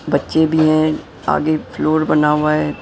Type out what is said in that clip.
बच्चे भी हैं आगे फ्लोर बना हुआ है .]